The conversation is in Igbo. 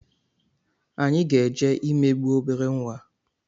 anyị ga-eje imegbu obere nwa a